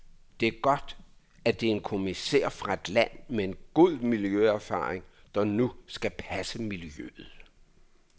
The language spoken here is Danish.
Det er godt, at det er en kommissær fra et land med en god miljøerfaring, der nu skal passe miljøet.